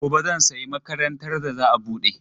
Gobe zan sayi makarantar da za a bude.